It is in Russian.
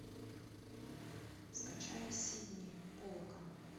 скачай сидни полака